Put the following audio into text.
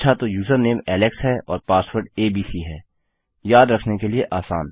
अच्छा तो username Alex है और पासवर्ड एबीसी है याद रखने के लिए आसान